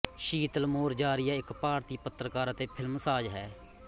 ਸ਼ੀਤਲ ਮੋਰਜਾਰੀਆ ਇਕ ਭਾਰਤੀ ਪੱਤਰਕਾਰ ਅਤੇ ਫ਼ਿਲਮਸਾਜ਼ ਹੈ